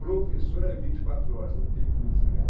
Professor é vinte e quatro horas, não tem como desligar.